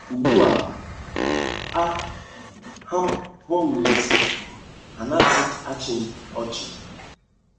Ugbu a, a, ha hụ m n’ezi, ha anaghịzi achị m ọchị! ”